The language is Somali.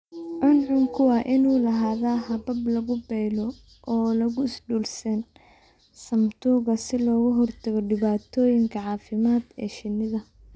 Cuncunku waa inuu lahaadaa habab lagu paylo oo lagu sdule sane samatuka si looga hortago dhibaatooyinka caafimaadka ee shinnida.